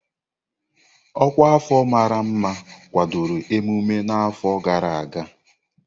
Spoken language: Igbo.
Ọkwa afọ mara mma kwadoro emume n'afọ gara aga.